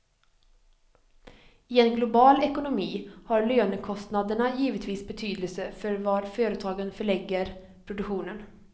I en global ekonomi har lönekostnaderna givetvis betydelse för var företagen förlägger produktionen.